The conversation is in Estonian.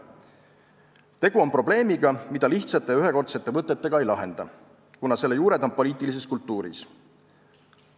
Tegu on probleemiga, mida lihtsate ja ühekordsete võtetega ei lahenda, kuna selle juured on poliitilises kultuuris.